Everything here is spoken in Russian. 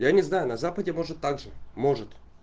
я не знаю на западе может также может